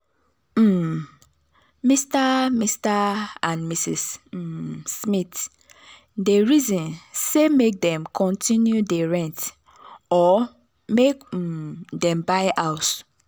um mr mr and mrs um smith dey reason say make dem continue dey rent or make um dem buy house.